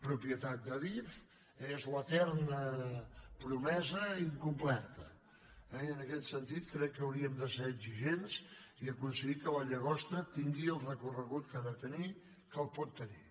propietat d’adif és l’eterna promesa incomplerta i en aquest sentit crec que hauríem de ser exigents i aconseguir que la llagosta tingui el recorregut que ha de tenir que el pot tenir